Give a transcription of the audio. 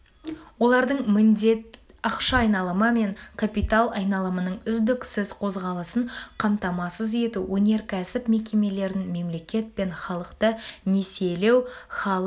олардың міндет ақша айналымы мен капитал айналымының үздіксіз қозғалысын қамтамасыз ету өнеркәсіп мекемелерін мемлекет пен халықты несиелеу халық